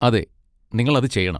അതെ, നിങ്ങൾ അത് ചെയ്യണം.